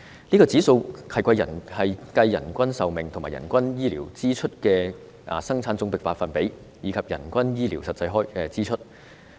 這指數是計算人均壽命及人均醫療支出佔生產總值的百分比，以及人均醫療實際支出。